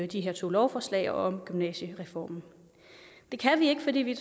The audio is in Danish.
de her to lovforslag og om gymnasiereformen det kan vi ikke fordi vi